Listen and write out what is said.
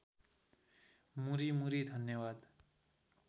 मुरी मुरी धन्यवाद